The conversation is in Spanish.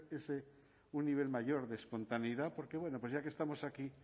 ese un nivel mayor de espontaneidad porque bueno pues ya que estamos aquí